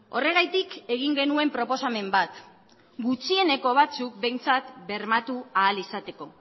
horregatik egin genuen proposamen bat gutxieneko batzuk behintzat bermatu ahal izateko